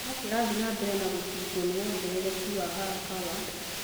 no kĩrathie na mbere na gũticwo nĩ wongerereku wa haraka wa